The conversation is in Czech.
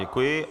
Děkuji.